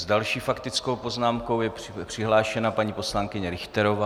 S další faktickou poznámkou je přihlášena paní poslankyně Richterová.